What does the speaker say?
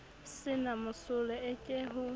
se na mosola eke ho